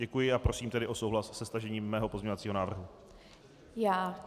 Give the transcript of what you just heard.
Děkuji a prosím tedy o souhlas se stažením mého pozměňovacího návrhu.